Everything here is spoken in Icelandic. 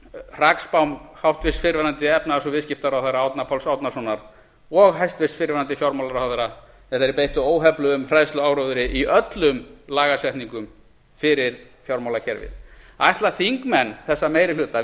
hrakspám háttvirtur fyrrverandi efnahags og viðskiptaráðherra árna páls árnasonar og hæstvirtur fyrrverandi fjármálaráðherra þegar þeir beittu óhefluðum hræðsluáróðri í öllum lagasetningum fyrir fjármálakerfið ætla þingmenn þessa meiri hluta